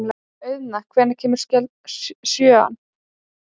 Auðna, hvenær kemur sjöan?